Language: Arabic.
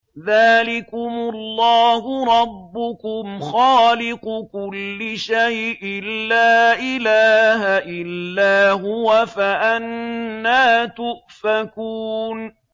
ذَٰلِكُمُ اللَّهُ رَبُّكُمْ خَالِقُ كُلِّ شَيْءٍ لَّا إِلَٰهَ إِلَّا هُوَ ۖ فَأَنَّىٰ تُؤْفَكُونَ